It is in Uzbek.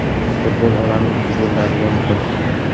Futbol olami ikki bo‘linadigan kun.